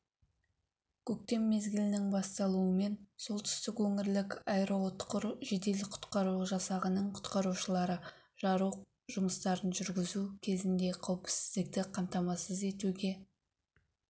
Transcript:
көктем мезгілінің басталуымен солтүстік өңірлік аэроұтқыр жедел-құтқару жасағының құтқарушылары жару жұмыстарын жүргізу кезінде қауіпсіздікті қамтамасыз етуге